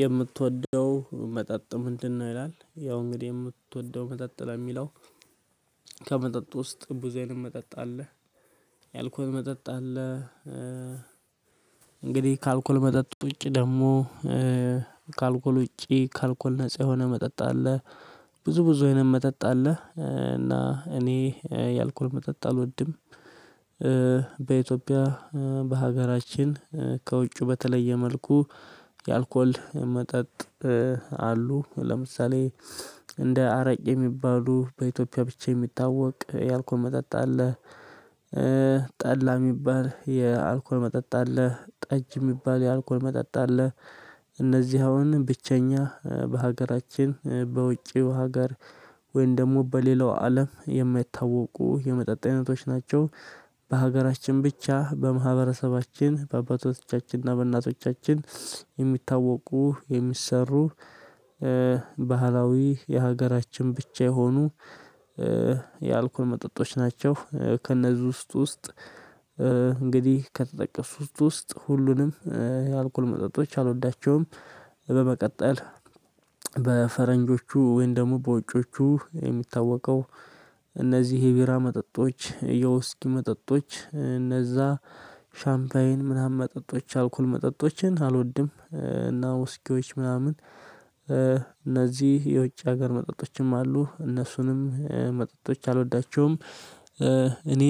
የምትወደው መጠጥ ምንድነው? ይላል ያው እንግዲህ የምትወደው መጠጥ ለሚለው ከመጠጥ ውስጥ ብዙ አይነት መጠጥ አለ የአልኮል መጠጥ አለ እንግዲህ ከአልኮል መጠጥ ውጪ ደግሞ ከአልኮል ውጪ ከአልኮል ነፃ የሆነ መጠጥ አለ ብዙ ብዙ አይነት መጠጥ አለ እና እኔ የአልኮል መጠጥ አልወድም። በኢትዮጵያ በሀገራችን ከውጩ በተለየ መልኩ የአልኮል መጠጥ አሉ ለምሳሌ እንደ አረቄ የሚባሉ በኢትዮጵያ ብቻ የሚታወቅ የአልኮል መጠጥ አለ። ጠላ የሚባል የአልኮል መጠጥ አለ ጠጅ የሚባል የአልኮል መጠጥ አለ። እነዚህ አሁን ብቸኛ በሀገራችን በውጪው ሀገር ወይም ደግሞ በሌላው አለም የማይታወቁ የመጠጥ አይነቶች ናቸው። በሀገራችን ብቻ በማህበረሰባችን በአባቶቻችን እና በእናቶቻችን የሚታወቁ የሚሰሩ ባህላዊ የሀገራችን ብቻ የሆኑ የአልኮል መጠጦች ናቸው። ከእነዚህ ውስጥ ውስጥ እንግዲህ ከተጠቀሱት ውስጥ ሁሉንም የአልኮል መጠጦች አልወዳቸውም። በመቀጠል በፈረንጆቹ ወይንም ደግሞ በውጪዎቹ የሚታወቀው እነዚህ የቢራ መጠጦች የውስኪ መጠጦች እነዛ ሻምፓይን ምናምን መጠጦች አልኮል መጠጦችን አልወድም እና ውስኪዎች ምናምን እነዚህ የውጭ ሀገር መጠጦችም አሉ እነሱንም መጠጦች አልወዳቸውም። እኔ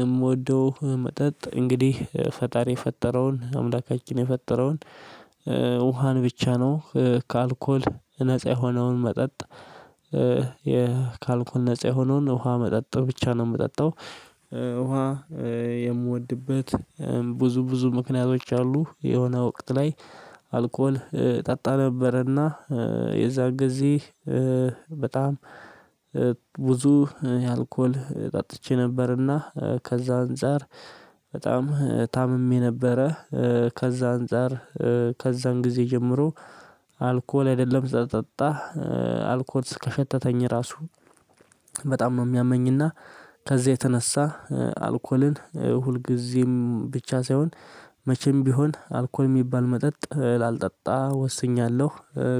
የምወደው መጠጥ እንግዲህ ፈጣሪ የፈጠረውን አምላካችን የፈጠረውን ውሃን ብቻ ነው ከአልኮል ነፃ የሆነውን መጠጥ ይኸ ከአልኮል ነፃ የሆነውን ውሃ መጠጥ ብቻ ነው የምጠጣው። ውሃ የምወድበት ብዙ ብዙ ምክንያቶች አሉ የሆነ ወቅት ላይ አልኮል ጠጣ ነበረና የዛን ጊዜ በጣም ብዙ አልኮል ጠጥቼ ነበርና ከዛ አንፃር በጣም ታምሜ ነበረ። ከዛ አንፃር ከዛን ጊዜ ጀምሮ አልኮል አይደለም ልጠጣ አልኮል ከሸተተኝ ራሱ በጣም ነው የሚያመኝና ከዚህ የተነሳ አልኮልን ሁልጊዜም ብቻ ሳይሆን መቼም ቢሆን አልኮል የሚባል መጠጥ ላልጠጣ ወስኛለሁ።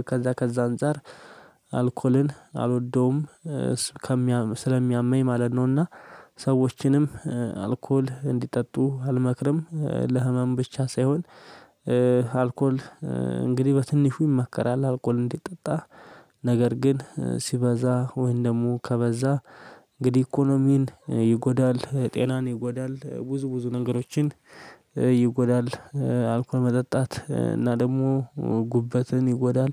ከዛ ከዛ አንፃር አልኮልን አልወደውም ከሚያም ስለሚያምኝ ማለት ነውና። ሰዎችንም አልኮል እንዲጠጡ አልመክርም ለህመም ብቻ ሳይሆን አልኮል እንግዲህ በትንሹ ይመከራል አልኮል እንዲጠጣ ነገር ግን ሲበዛ ወይንም ደግሞ ከበዛ እንግዲህ ኢኮኖሚን ይጎዳል ጤናን ይጎዳል ብዙ ብዙ ነገሮችን ይጎዳል። አልኮል መጠጣት እና ደግሞ ጉበትን ይጎዳል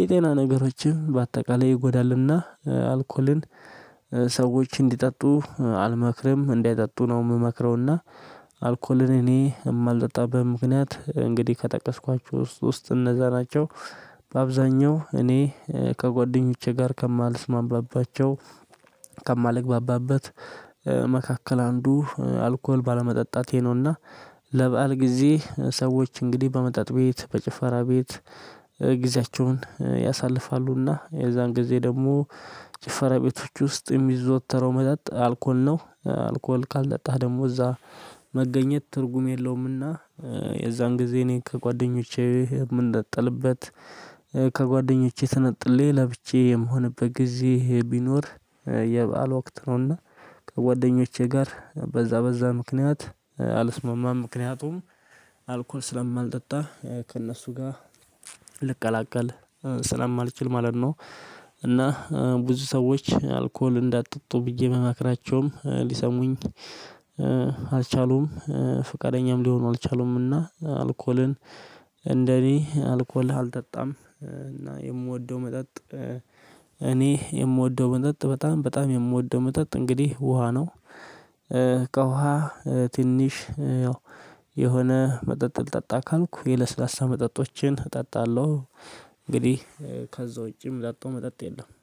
የጤና ነገሮችም በአጠቃላይ ይጎዳልና። አልኮልን ሰዎች እንዲጠጡ አልመክርም እንዳይጠጡ ነው የምመክረውና። አልኮልን እኔ የማልጠጣበት ምክንያት እንግዲህ ከጠቀስኳችሁ ውስጥ ውስጥ እነዛ ናቸው። በአብዛኛው እኔ ከጓደኞቼ ጋር ከማልስማማባቸው ከማልግባባበት መካከል አንዱ አልኮል ባለመጠጣቴ ነውና። ለበአል ጊዜ ሰዎች እንግዲህ በመጠጥ ቤት በጭፈራ ቤት ጊዜያቸውን ያሳልፋሉና የዛን ጊዜ ደግሞ ጭፈራ ቤቶች ውስጥ የሚዘወተረው መጠጥ አልኮል ነው አልኮል ካልጠጣህ ደግሞ እዛ መገኘት ትርጉም የለውምና። የዛን ጊዜ እኔ ከጓደኞቼ ምነጠልበት ከጓደኞቼ ተነጥሌ ለብቻዬ የምሆንበት ጊዜ ቢኖር የበአል ወቅት ነውና ከጓደኞቼ ጋር በዛ በዛ ምክንያት አልስማማም ምክንያቱም አልኮል ስለማልጠጣ ከእነሱ ጋር ልቀላቀል ስለማልችል ማለት ነው። እና ብዙ ሰዎች አልኮል እንዳጠጡ ብዬ ብመክራቸውም ሊሰሙኝ አልቻሉም። ፈቃደኛም ሊሆኑ አልቻሉምና። አልኮልን እንደኔ አልኮል አልጠጣም እና የምወደው መጠጥ እኔ የምወደው መጠጥ በጣም በጣም የምወደው መጠጥ እንግዲህ ውሃ ነው። ከውሃ ትንሽ ያው የሆነ መጠጥ ልጠጣ ካልኩ የለስላሳ መጠጦችን እጠጣለሁ። እንግዲህ ከዛ ውጪም የምጠጣው መጠጥ የለም